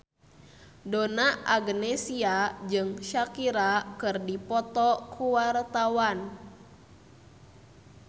Donna Agnesia jeung Shakira keur dipoto ku wartawan